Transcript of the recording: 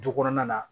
Du kɔnɔna na